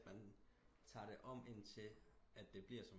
Mea tager det om ind til at det bliver